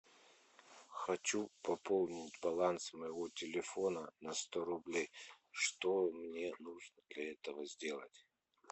хочу пополнить баланс моего телефона на сто рублей что мне нужно для этого сделать